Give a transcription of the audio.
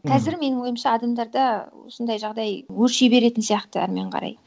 мхм қазір менің ойымша адамдарда осындай жағдай өрши беретін сияқты әрімен қарай